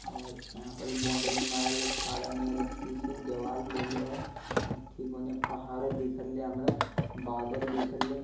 और यहाँ परी बाउंड्री मरल ह सदा नियर अथिये से दीवाल देले है ठीक होने पहाड़े दिख्ले हमरा बदल दिख्ले--